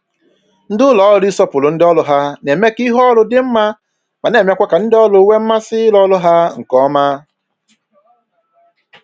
Ndị ụlọ ọrụ ịsọpụrụ ndị ọrụ ha na-eme ka ihu ọrụ dị mma ma na-emekwa ka ndị ọrụ nwee mmasị ịrụ ọrụ ha nke ọma